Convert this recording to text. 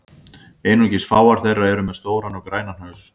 Einungis fáar þeirra eru með stóran og grænan haus.